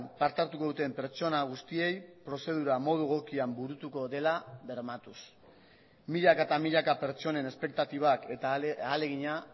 parte hartuko duten pertsona guztiei prozedura modu egokian burutuko dela bermatuz milaka eta milaka pertsonen espektatibak eta ahalegina